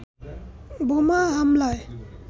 বোমা হামলায়